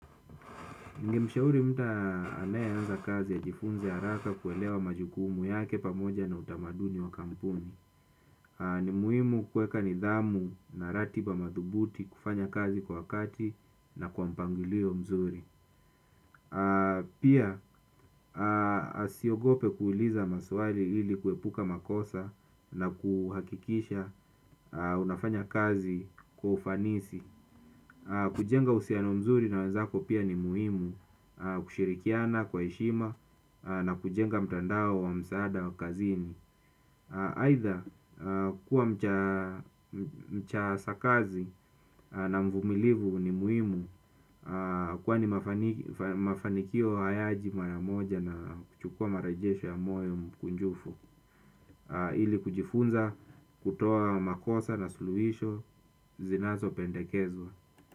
Ningemshauri mta anayeanza kazi ajifunze haraka kuelewa majukumu yake pamoja na utamaduni wa kampuni. Ni muhimu kuweka nidhamu na ratiba madhubuti kufanya kazi kwa wakati na kwa mpangilio mzuri. Pia asiogope kuuliza maswali ili kuepuka makosa na kuhakikisha unafanya kazi kwa ufanisi. Kujenga uhusiano mzuri na wanzako pia ni muhimu kushirikiana kwa heshima na kujenga mtandao wa msaada wa kazini. Aidha kuwa mcha sakazi na mvumilivu ni muhimu. Kwa ni mafanikio hayaji mara moja na kuchukua marajesho ya moyo mkunjufu. Ili kujifunza kutoa makosa na suluhisho zinazopendekezwa.